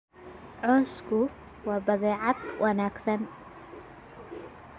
Cawsku waa badeecad wanaagsan.